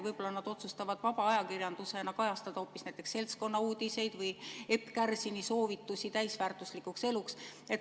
Võib-olla nad otsustavad vaba ajakirjandusena kajastada hoopis seltskonnauudiseid või Epp Kärsini soovitusi täisväärtuslikuks eluks?